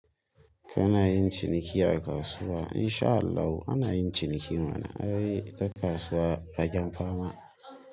Kana yin ciniki a kasuwa? In sha Allah ana yin ciniki mana, ai ta kasuwa waje fama.